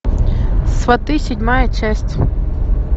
сваты седьмая часть